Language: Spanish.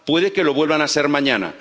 Puede que lo vuelvan a ser mañana.